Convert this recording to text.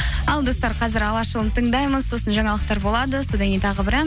ал достар қазір алаш ұлын тыңдаймыз сосын жаңалықтар болады содан кейін тағы бір ән